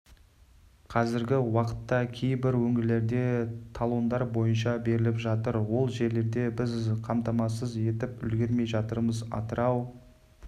қазіргі уақытта кейбір өңірлерде талондар бойынша беріліп жатыр ол жерлерде біз қамтамасыз етіп үлгермей жатырмыз атырау